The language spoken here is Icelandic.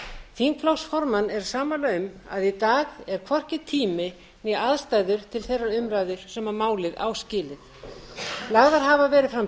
þingflokksformenn eru sammála um að í dag er hvorki tími né aðstæður til þeirrar umræðu sem málið á skilið lagðar hafa verið fram